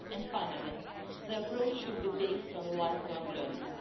Finally, the approach should be based on lifelong learning.